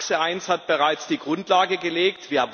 TAXE 1 hat bereits die Grundlage gelegt.